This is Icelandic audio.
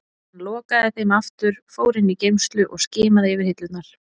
Hann lokaði þeim aftur, fór inn í geymslu og skimaði yfir hillurnar.